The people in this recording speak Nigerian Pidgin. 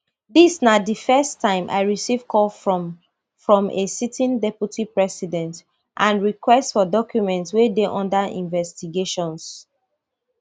dis na di first time i receive call from from a sitting deputy president and request for documents wey dey under investigations